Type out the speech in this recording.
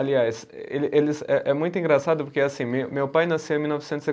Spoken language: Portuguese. Aliás, ele eles é é muito engraçado porque assim, meu pai nasceu em mil novecentos e